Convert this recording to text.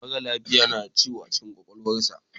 Mara lafiya na da ciwo a cikin kwakwalwarsa.